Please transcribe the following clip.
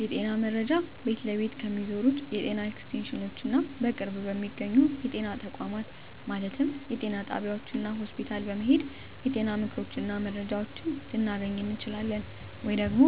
የጤና መረጃ ቤት ለቤት ከሚዞሩት የጤና ኤክስቴንሽኖች እና በቅርብ በሚገኙ የጤና ተቋማት ማለትም ጤና ጣቢያዎች እና ሆስፒታል በመሔድ የጤና ምክሮችን እና መረጃዎችን ልናገኝ እንችላለን። ወይም ደግሞ